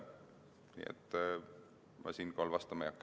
Nii et sellele küsimusele ma vastama ei hakka.